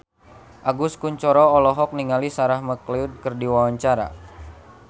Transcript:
Agus Kuncoro olohok ningali Sarah McLeod keur diwawancara